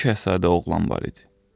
Bir Şahzadə oğlan var idi.